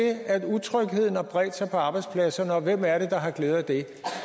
at utrygheden har bredt sig på arbejdspladserne og hvem er det der har glæde af det